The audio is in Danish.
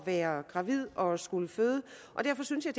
være gravid og skulle føde derfor synes jeg